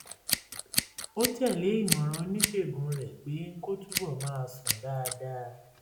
ó tẹ̀ lé ìmọ̀ràn oníṣègùn rẹ̀ pé kó túbọ̀ máa sùn dáadáa